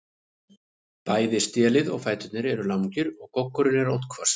Bæði stélið og fæturnir eru langir og goggurinn er oddhvass.